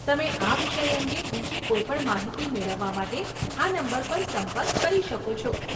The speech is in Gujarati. તમે આ વિષય અંગે બીજી કોઈ પણ માહિતી મેળવવા માટે આ નંબર પર સંપર્ક કરી શકો છો.